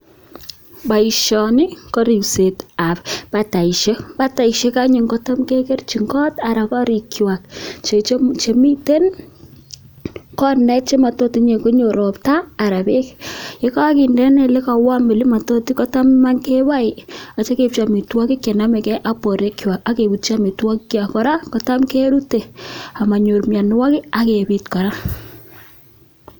Boisioni ko ripsetab bataishek. Bataishek anyun kotam kegerchin kot anan korikwak che miten kot matot inye konyo ropta, anan beek, ye koginde en ile ko warm keboe ak kityo keibchi amitwogik che nomege ak borwekwag ak ak kebutyi amitwogikkwak. Kora kotam kerute amonyor mianwogik ak kebit kora.